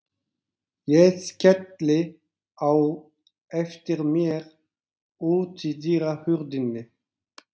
Ég skelli á eftir mér útidyrahurðinni.